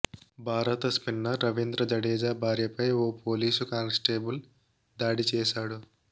భారత స్పిన్నర్ రవీంద్ర జడేజా భార్యపై ఓ పోలీసు కానిస్టేబుల్ దాడి చేశాడు